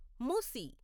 మూసి